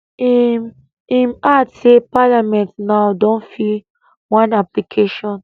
im im add say parliament now don fill one application